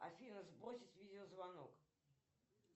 афина сбросить видеозвонок